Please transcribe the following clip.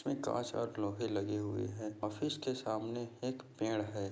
इसमें लगे हुए है। ऑफिस के सामने इक पेड़ है।